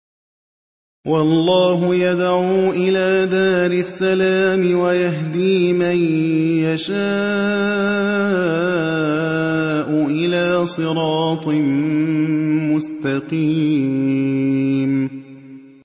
وَاللَّهُ يَدْعُو إِلَىٰ دَارِ السَّلَامِ وَيَهْدِي مَن يَشَاءُ إِلَىٰ صِرَاطٍ مُّسْتَقِيمٍ